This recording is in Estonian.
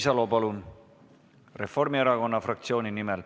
Signe Riisalo Reformierakonna fraktsiooni nimel.